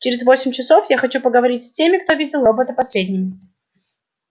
через восемь часов я хочу поговорить с теми кто видел робота последними